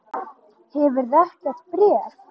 Hefurðu ekkert bréf?